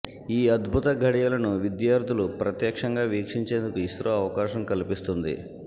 ఈ అద్భుత ఘడియలను విద్యార్థులు ప్రత్యక్షంగా వీక్షించేందుకు ఇస్రో అవకాశం కల్పిస్తోంది